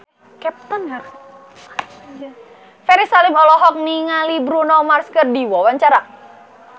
Ferry Salim olohok ningali Bruno Mars keur diwawancara